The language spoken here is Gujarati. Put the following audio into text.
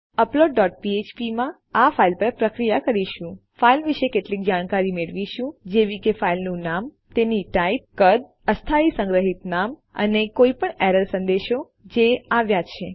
પછી અપલોડ ડોટ ફ્ફ્પ માં આપણે આ ફાઇલ પર પ્રક્રિયા કરીશું ફાઈલ વિશે કેટલીક જાણકારી મેળવીશું જેવી કે ફાઈલનું નામ તેની ટાઇપ કદ અસ્થાયી સંગ્રહિત નામ અને કોઈપણ એરર સંદેશાઓ જે આવ્યા છે